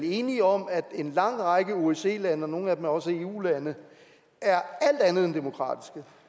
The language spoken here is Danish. enige om at en lang række osce lande og nogle af dem er også eu lande er alt andet end demokratiske